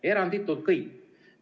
Eranditult kõik toetasid.